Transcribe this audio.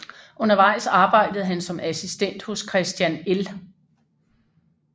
Undervejs arbejdede han som assistent hos Christian L